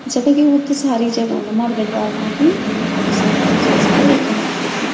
जखा कि वुत्त सारी जगा म मार्केट वाल मा भी अर भौत सारी तीन चार जगा एखी मार्केट मा।